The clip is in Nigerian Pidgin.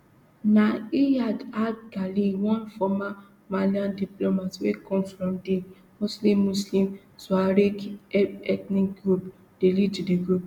na iyad ag ghali one former malian diplomat wey come from di mostly muslim tuareg ethnic group dey lead di group